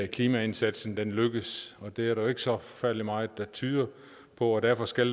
klimaindsatsen lykkes og det er der ikke så forfærdelig meget der tyder på og derfor skal